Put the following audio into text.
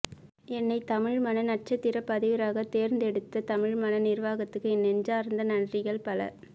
என்னை தமிழ் மண நட்சத்திர பதிவராக தேர்ந்து எடுத்த தமிழ்மண நிர்வாகத்துக்கு என் நெஞ்சார்ந்த நன்றிகள் பல